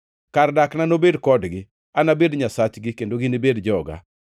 Kar dakna nobed kodgi; anabed Nyasachgi, kendo ginibed joga.